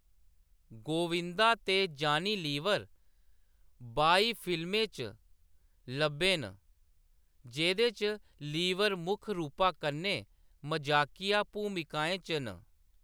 गोविंदा ते जानी लीवर बाई फिल्में च लब्भे न, जेह्‌‌‌दे च लीवर मुक्ख रूपा कन्नै मजाकिया भूमिकाएं च न।